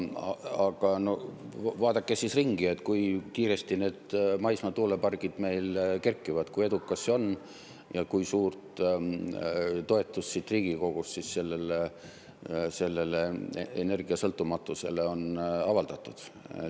Aga vaadake siis ringi, kui kiiresti need maismaa tuulepargid meil kerkivad, kui edukas see on ja kui suurt toetust siit Riigikogust sellele energiasõltumatusele on avaldatud.